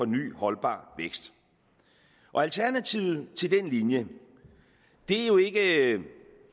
ny holdbar vækst alternativet til den linje er jo ikke